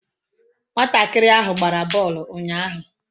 Umuntakiri ahu gbara boolu unyahu